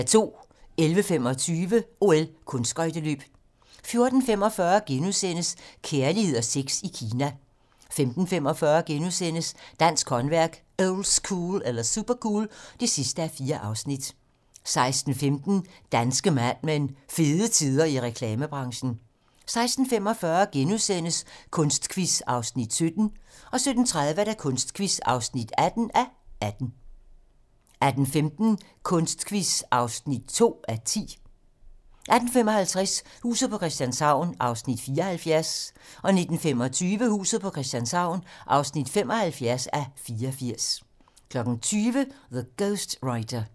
11:25: OL: Kunstskøjteløb 14:45: Kærlighed og sex i Kina * 15:45: Dansk håndværk - oldschool eller supercool? (4:4)* 16:15: Danske Mad Men: Fede tider i reklamebranchen 16:45: Kunstquiz (17:18)* 17:30: Kunstquiz (18:18) 18:15: Kunstquiz (2:10) 18:55: Huset på Christianshavn (74:84) 19:25: Huset på Christianshavn (75:84) 20:00: The Ghost Writer